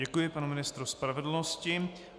Děkuji panu ministru spravedlnosti.